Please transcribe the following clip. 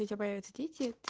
появится